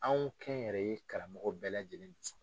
Anw kɛnyɛrɛye karamɔgɔ bɛɛ lajɛlen